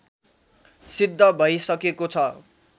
सिद्ध भइसकेको छ